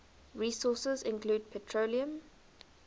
resources include petroleum